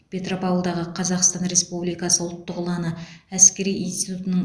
петропавлдағы қазақстан республикасы ұлттық ұланы әскери интитутының